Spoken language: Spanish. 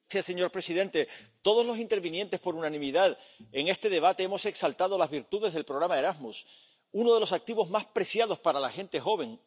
Señor presidente, todos los intervinientes por unanimidad en este debate hemos exaltado las virtudes del programa Erasmus, uno de los activos, más preciados para la gente joven.